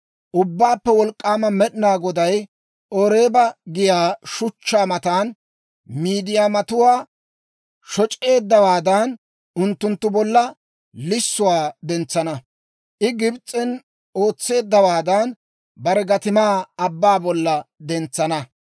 Ubbaappe Wolk'k'aama Med'inaa Goday Oreeba giyaa shuchchaa matan Miidiyaamatuwaa shoc'eeddawaadan, unttunttu bolla lissuwaa dentsana. I Gibs'en ootseeddawaadan, bare gatimaa abbaa bolla dentsana.